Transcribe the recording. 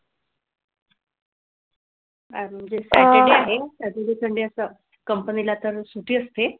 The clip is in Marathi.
आज म्हणजे saturday आहे. saturday sunday असं company ला तर सुट्टी असते.